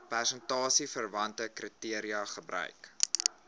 prestasieverwante kriteria gebruik